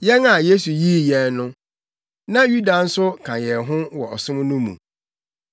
Yɛn a Yesu yii yɛn no, na Yuda nso ka yɛn ho wɔ ɔsom no mu.